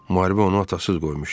Müharibə onu atasız qoymuşdu.